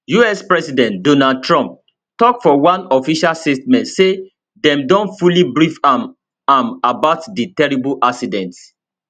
us president donald trump tok for one official statement say dem don fully brief am am about di terrible accident